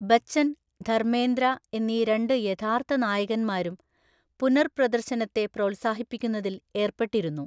ബച്ചൻ, ധർമേന്ദ്ര എന്നീ രണ്ട് യഥാർത്ഥ നായകന്മാരും പുനർപ്രദർശനത്തെ പ്രോത്സാഹിപ്പിക്കുന്നതിൽ ഏർപ്പെട്ടിരുന്നു.